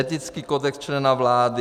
Etický kodex člena vlády.